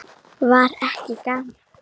Var ekki gaman?